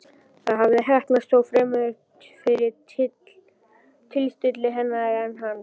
Það hafði heppnast, þó fremur fyrir tilstilli hennar en hans.